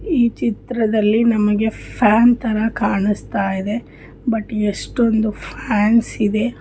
ಈ ಚಿತ್ರದಲ್ಲಿ ನಮಗೆ ಫ್ಯಾನ್ ತರ ಕಾಣಿಸ್ತಾ ಇದೆ ಬಟ್